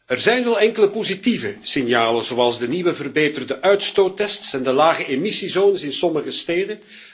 Er zijn al enkele positieve signalen, zoals de nieuwe verbeterde uitstoottests en de lage emissiezones in sommige steden.